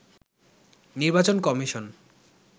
নির্বাচন কমিশন